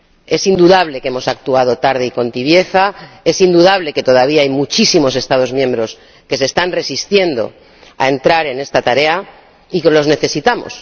Es indudable que hemos actuado tarde y con tibieza, es indudable que todavía hay muchísimos Estados miembros que se están resistiendo a entrar en esta tarea y que los necesitamos.